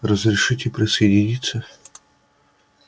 разрешите присоединиться